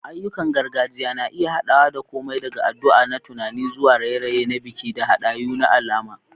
Ayyukan gargajiya na iya haɗawa da komai daga addu'a da tunani zuwa raye-raye na biki da hadayu na alama.